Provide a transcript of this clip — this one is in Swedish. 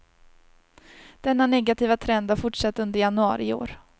Denna negativa trend har fortsatt under januari i år.